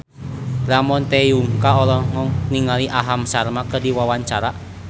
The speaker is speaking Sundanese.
Ramon T. Yungka olohok ningali Aham Sharma keur diwawancara